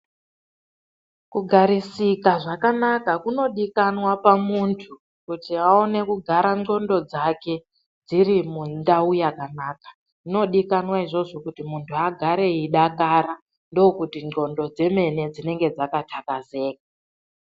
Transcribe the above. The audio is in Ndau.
Kugarisika zvakanaka kunodikanwa pamuntu kuti aone kugara ndxondo dzake dziri mundau yakanaka. Zvinodikanwa izvozvo kuti muntu agare eidakara ndokuti ndxondo dzemene dzinenge dzakaxakazeka.